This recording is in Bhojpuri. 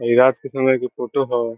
इ रात के समय के फोटो हई।